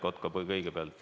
Siret Kotka kõigepealt.